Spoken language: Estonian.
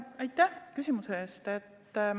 Aitäh küsimuse eest!